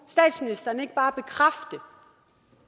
statsministeren ikke bare bekræfte